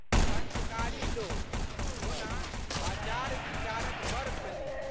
संस्कारी लोक। ओना, आचारविचारक बड़ धनिक।